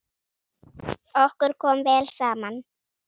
Okkur kom vel saman.